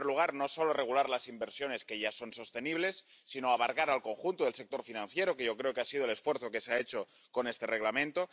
En primer lugar, no solo regular las inversiones que ya son sostenibles, sino abarcar al conjunto del sector financiero, que yo creo que ha sido el esfuerzo que se ha hecho con este Reglamento.